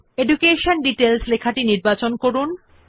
সুতরাং প্রথমে শিরোনাম এডুকেশন ডিটেইলস নির্বাচন করুন